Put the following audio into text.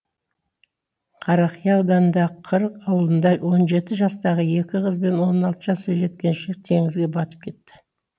қарақия ауданындағы құрық ауылында он жеті жастағы екі қыз бен он алты жасар жеткіншек теңізге батып кетті